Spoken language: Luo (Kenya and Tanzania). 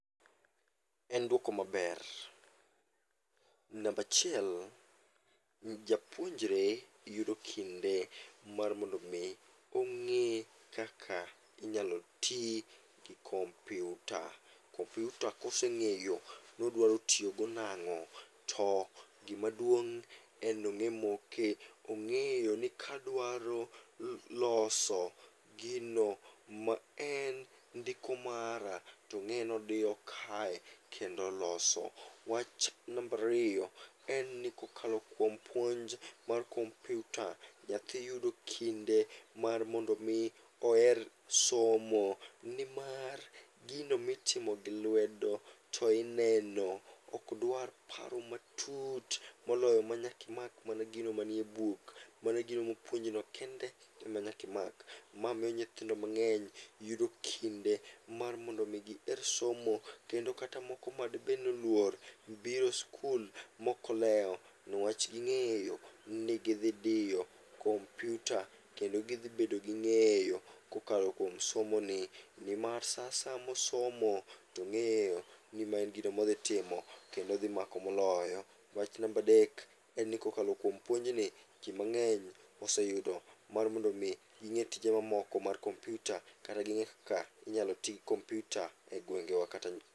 En duoko maber, nambachiel n japuonjre yudo kinde mar mondo mi ong'e kaka inyalo ti gi kompyuta. Kompyuta koseng'eyo nodwaro tiyogo nang'o, to gimaduong' en nong'e moke ong'eyo ni kadwaro loso gino ma en ndiko mara tong'e nodiyo kae kendo loso. Wach nambariyo en ni kokalo kuom puonj mar kompyuta, nyathi yudo kinde mar mondo mi oher somo. Nimar gino mitimo gi lwedo to ineno ok dwar paro matut moloyo manyakimak mana gino manie buk, mana gino mopuonjino kende ema nyakimak. Ma miyo nyithindo mang'eny yudo kinde mar mondo mi giher somo, kendo kata moko madibed noluor biro skul mokolewo. Niwach ging'eyo ni gidhi diyo kompyuta, kendo gidhi bedo gi ng'eyo kokalo kuom somo ni. Nimar sa asaya mosomo, tong'eyo ni ma en gino modhi timo kendo odhi mako moloyo. Wach nambadek, en ni kokalo kuom puonjni, ji mang'eny oseyudo mar mondo mi ging'e tije mamoko mar kompyuta kata ging'e kaka inyalo ti kompyuta e gwengewa kata.